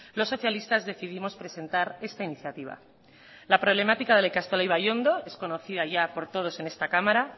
los socialistas decidimos presentar esta iniciativa la problemática de la ikastola ibaiondo es conocida ya por todos en esta cámara